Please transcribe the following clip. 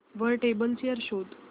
वर table chair शोध